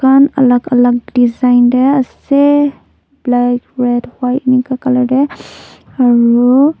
edukan alak alak design tae ase black red white enika colour tae aru--